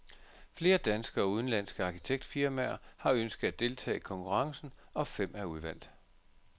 Flere danske og udenlandske arkitektfirmaer har ønsket at deltage i konkurrencen, og fem er udvalgt.